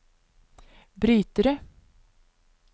brytere